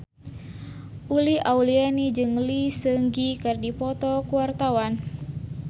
Uli Auliani jeung Lee Seung Gi keur dipoto ku wartawan